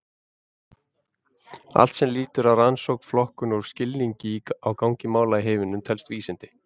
Allt sem lýtur að rannsókn, flokkun og skilningi á gangi mála í heiminum telst vísindi.